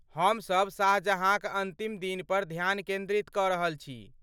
हम सब शाहजहाँक अन्तिम दिन पर ध्यान केन्द्रित कऽ रहल छी।